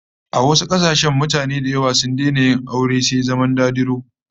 A wasu kasashen wasu mutanen da yawa sun daina yin aure sai zama dadiro